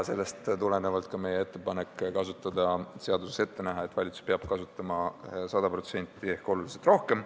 Sellest tuleneb ka meie ettepanek seaduses ette näha, et valitsus peab kasutama 100% ehk oluliselt rohkem.